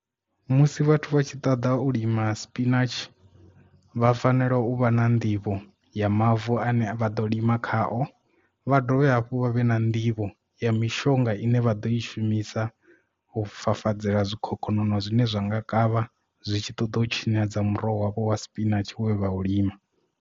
Musi vhathu vha tshi ṱoḓa u lima spinatshi vha fanela u vha na nḓivho ya mavu ane vha ḓo lima khao vha dovhe hafhu vha vhe na nḓivho ya mishonga ine vha ḓo i shumisa u fafadzela zwikhokhonono zwine zwa nga kavha zwi tshi ṱoḓa u tshinyadza muroho wa vho wa spinatshi we vha u lima.